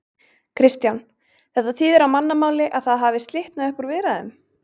Kristján: Þetta þýðir á mannamáli að það hafi slitnað upp úr viðræðum?